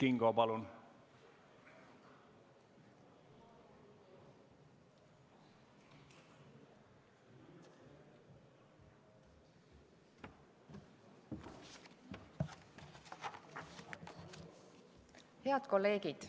Head kolleegid!